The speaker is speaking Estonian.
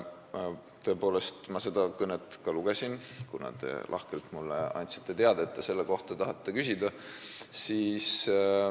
Tõepoolest, ma seda kõnet lugesin, kuna te lahkelt andsite mulle teada, et te tahate selle kohta küsida.